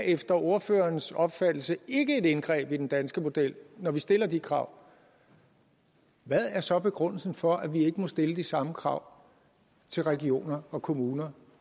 efter ordførerens opfattelse ikke er et indgreb i den danske model når vi stiller de krav hvad er så begrundelsen for at vi ikke må stille de samme krav til regioner og kommuner